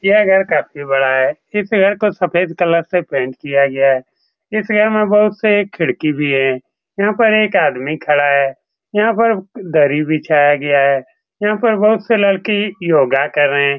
यह घर काफी बड़ा है इस घर को सफ़ेद कलर से पेंट किया गया है इस घर में बहुत से खिड़की भी हैं यहाँ पर एक आदमी खड़ा है यहाँ पर दरी बिछाया गया है यहाँ पर बहोत से लड़के योगा कर रहे हैं ।